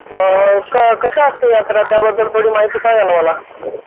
अ कशी असते यात्रा त्याबद्दल थोडी माहिती सांगा ना मला?